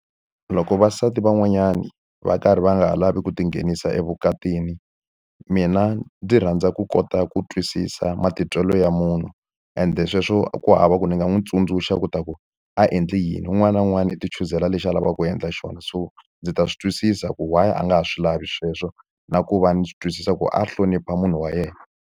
Loko vavasati van'wanyani va karhi va nga ha lavi ku tinghenisa evukatini, mina ndzi rhandza ku kota ku twisisa matitwelo ya munhu ende sweswo ku hava ku ni nga n'wi tsundzuxa leswaku a endli yini. Un'wana na wun'wana i ti chuzela lexi a lavaka ku endla xona. So ndzi ta swi twisisa ku why a nga ha swi lavi sweswo na ku va ni swi twisisa ku a hlonipha munhu wa yena.